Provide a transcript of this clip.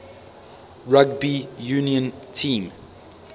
rugby union team